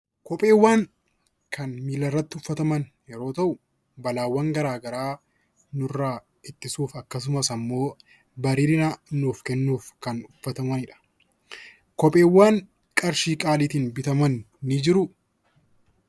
Kopheewwan Kan milla irratti uffataman yeroo tahu balaawwan garaagaraa nurraa ittisuuf akkasumas immoo bareedina nuuf kennuuf Kan uffatamanidha. Kopheewwan qarshii qaaliitiin bitaman ni jiruu?